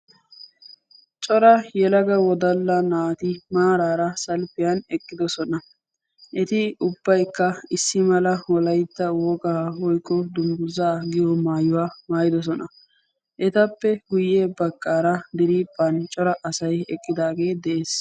Cora yelaga wodalla naati maaraara salppiyan eqqidosona. Eti ubbaykka issi mala wolaytta wogaa woykko dungguzaa giyoo maayuwa maayidosona. Etappe guyye baggaara diriiphphan cora asay eqqidaagee de'ees.